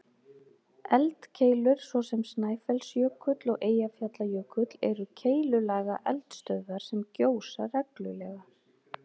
Eldkeilur, svo sem Snæfellsjökull og Eyjafjallajökull, eru keilulaga eldstöðvar sem gjósa reglulega.